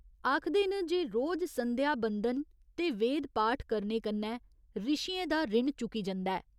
आखदे न जे रोज संध्या बंदन ते वेद पाठ करने कन्नै ऋशियें दा रिण चुकी जंदा ऐ।